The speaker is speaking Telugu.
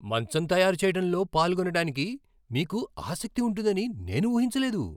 మంచం తయారు చేయటంలో పాల్గొనటానికి మీకు ఆసక్తి ఉంటుందని నేను ఊహించలేదు.